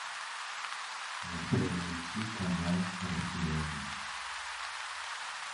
воспроизвести канал россия один